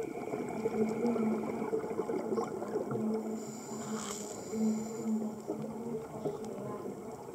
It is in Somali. Adeegyada khadka tooska ah ayaa dadka ka caawiya inay si wanaagsan u qorsheeyaan.